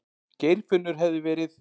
Geirfinnur hefði verið.